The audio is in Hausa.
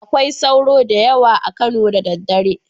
Akwai sauro da yawa a Kano da daddare